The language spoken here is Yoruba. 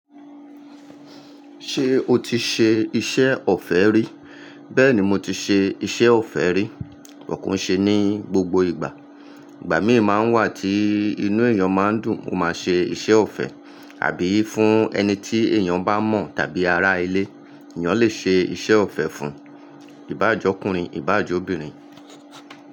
Ṣé o ti ṣe iṣẹ́ ọ̀fẹ́ rí? Bẹ́ẹ̀ni mo ti ṣe iṣẹ́ ọ̀fẹ́ rí. But ko i ṣe ní gbogbo ìgbà. Ìgbà mìí máa ń wà tí inú èèyàn máa ń dùn, ó máa ṣe iṣẹ́ ọ̀fẹ́ àbí fún ẹni tí èèyàn bá mọ̀ tàbí ará ilé. Ẹ̀yàn lè ṣe iṣẹ́ ọ̀fẹ́ fún ìbá jọ kúrin, ìbá jọ obìnrin.